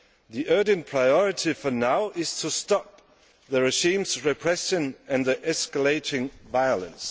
The urgent priority for now is to stop the regime's repression and the escalating violence.